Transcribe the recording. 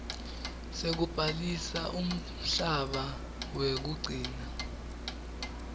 sekubhalisa umhlaba wekugcina